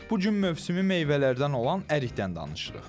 Bu gün mövsümü meyvələrdən olan ərikdən danışırıq.